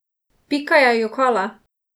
Pika je jokala!